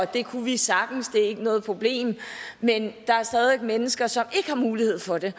det kunne vi sagtens det er ikke noget problem men der er stadig mennesker som ikke har mulighed for det